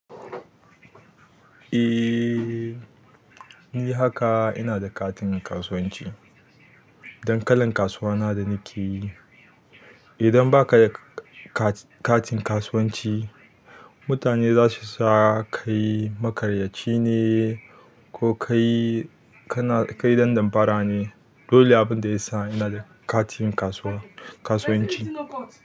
Eh, ni haka ina da katin kasuwanci. Dan kalan kasuwa na da ni ke yi. Idan ba ka da katin kasuwanci, mutane za su sa kai maƙaryaci ne ko kai kai dan damfara ne. Dole abin da ya sa ina da katin kasuwanci.